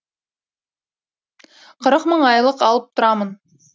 қырық мың айлық алып тұрамын